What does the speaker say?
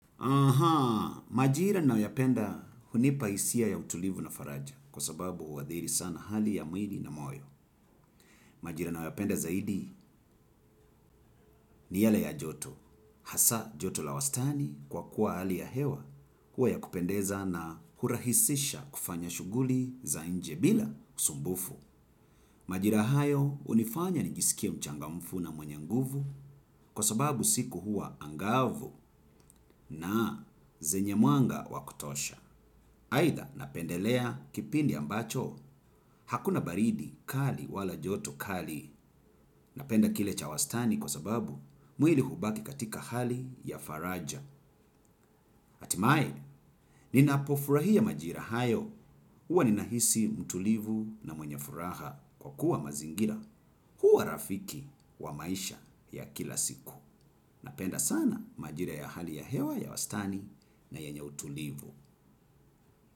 Aha, majira nayopenda hunipaisia ya utulivu na faraja kwa sababu huwadhiri sana hali ya muili na moyo. Majira nayoyapenda zaidi ni yale ya joto. Hasa joto la wastani kwa kuwa hali ya hewa huwa ya kupendeza na hurahisisha kufanya shuguli za nje bila usumbufu. Majira hayo unifanya nijisikie mchangamfu na mwenye nguvu kwa sababu siku hua angavu na zenye mwanga wakutosha. Haida napendelea kipindi ambacho. Hakuna baridi kali wala joto kali. Napenda kile cha wastani kwa sababu muili hubaki katika hali ya faraja. Atimae, ninapofurahia majira hayo, huwa ninahisi mtulivu na mwenye furaha kwa kuwa mazingira, huwa rafiki wa maisha ya kila siku. Napenda sana majira ya hali ya hewa ya wastani na yenye utulivu.